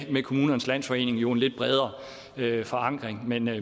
med kommunernes landsforening en lidt bredere forankring men jeg